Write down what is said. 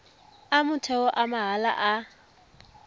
a motheo a mahala a